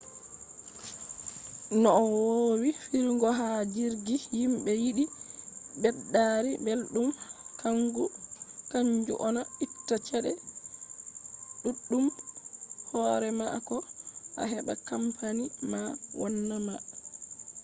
no wowi firigo ha jirgi himɓe yiɗi ɓeddari belɗum kanju on a itta cede ɗuɗɗumb r hore ma ko a heɓa kampani ma wanna ma